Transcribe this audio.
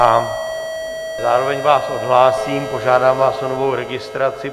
A zároveň vás odhlásím, požádám vás o novou registraci.